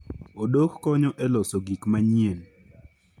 Odok konyo e loso gik manyien.